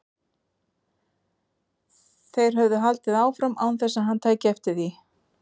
Þeir höfðu haldið áfram án þess að hann tæki eftir því.